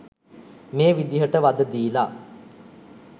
මේ විදිහට වධ දීල